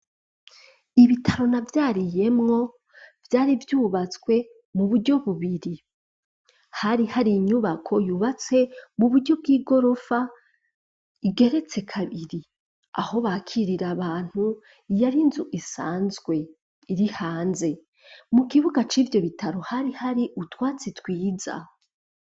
ibitaro na vyariyemwo vyari vyubatswe mu buryo bubiri hari hari inyubako yubatse mu buryo bw'igorofa igeretse kabiri aho bakirira abantu iyari nzu isanzwe iri hanze mu kibuga c'ibyo bitaro hari hari utwatsi twiza.